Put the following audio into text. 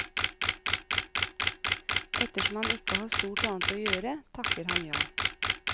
Ettersom han ikke har stort annet å gjøre, takker han ja.